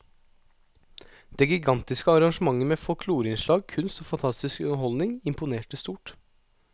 Det gigantiske arrangementet med folkloreinnslag, kunst og fantastisk underholdning imponerte stort.